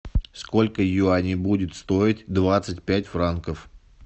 сколько юаней будет стоить двадцать пять франков